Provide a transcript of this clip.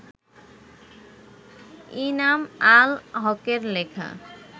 ইনাম আল হকের লেখা